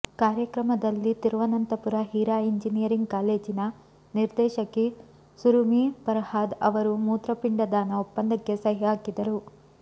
ಕಾರ್ಯಕ್ರಮದಲ್ಲಿ ತಿರುವನಂತಪುರ ಹೀರಾ ಎಂಜಿನಿಯರಿಂಗ್ ಕಾಲೇಜಿನ ನಿರ್ದೇಶಕಿ ಸುರುಮಿ ಫರ್ಹಾದ್ ಅವರು ಮೂತ್ರಪಿಂಡ ದಾನ ಒಪ್ಪಂದಕ್ಕೆ ಸಹಿ ಹಾಕಿದರು